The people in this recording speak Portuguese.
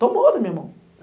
Tomou da minha mão.